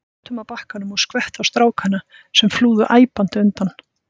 Hann óð með látum að bakkanum og skvetti á strákana, sem flúðu æpandi undan.